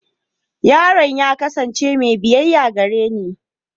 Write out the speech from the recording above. Yaron ya kasance mai biyayya gareni.